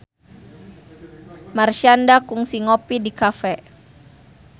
Marshanda kungsi ngopi di cafe